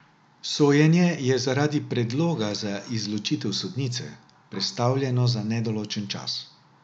Sojenje je zaradi predloga za izločitev sodnice prestavljeno za nedoločen čas.